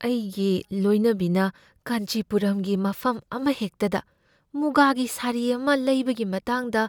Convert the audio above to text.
ꯑꯩꯒꯤ ꯂꯣꯏꯅꯕꯤꯅ ꯀꯥꯟꯆꯤꯄꯨꯔꯝꯒꯤ ꯃꯐꯝ ꯑꯃꯍꯦꯛꯇꯗ ꯃꯨꯒꯥꯒꯤ ꯁꯥꯔꯤ ꯑꯃ ꯂꯩꯕꯒꯤ ꯃꯇꯥꯡꯗ